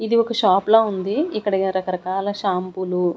ఇది ఒక షాప్ లా ఉంది ఇక్కడేదో రకరకాల శాంపూలు .